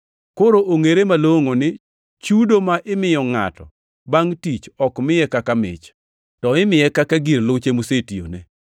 Koro ongʼere malongʼo ni chudo ma imiyo ngʼato bangʼ tich ok miye kaka mich; to imiye kaka gir luche mosetiyone.